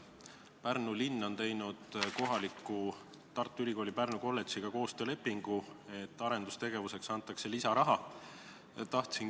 Pärnu linn on teinud Tartu Ülikooli Pärnu Kolledžiga koostöölepingu, et arendustegevuseks antakse lisaraha.